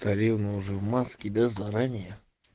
царевна уже в маске да заранее